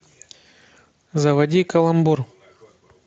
заводи каламбур